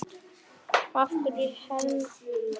Af hverju hernámu Bretar Ísland?